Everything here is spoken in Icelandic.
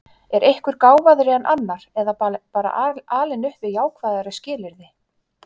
Er einhver gáfaðri en annar eða bara alinn upp við jákvæðari skilyrði?